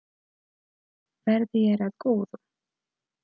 Verði þér að góðu.